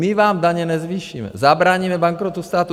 My vám daně nezvýšíme, zabráníme bankrotu státu.